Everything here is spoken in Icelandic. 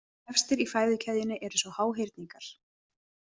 Efstir í fæðukeðjunni eru svo háhyrningar.